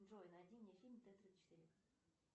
джой найди мне фильм т тридцать четыре